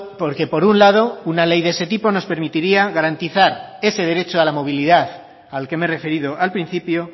porque por un lado una ley de ese tipo nos permitiría garantizar ese derecho a la movilidad al que me he referido al principio